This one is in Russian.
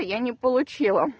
я не получила